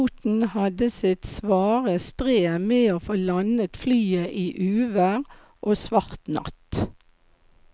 Piloten hadde sitt svare strev med å få landet flyet i uvær og svart natt.